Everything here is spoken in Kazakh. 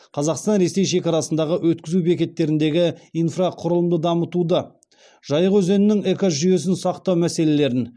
қазақстан ресей шекарасындағы өткізу бекеттеріндегі инфрақұрылымды дамытуды жайық өзенінің экожүйесін сақтау мәселелерін